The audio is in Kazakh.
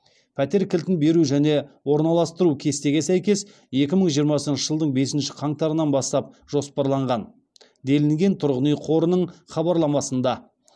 пәтер кілтін беру және орналастыру кестеге сәйкес екі мың жиырмасыншы жылдың бесінші қаңтарынан бастап жоспарланған делінген тұрғын үй қорының хабарламасында